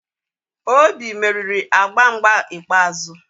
Obi meriri agba mgba ikpeazụ